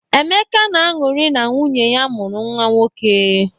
Emeka na-aṅụrị na nwunye ya mụrụ nwa nwoke.